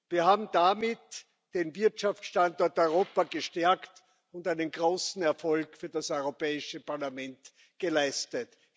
Wir haben damit den Wirtschaftsstandort Europa gestärkt und einen großen Erfolg für das Europäische Parlament geleistet.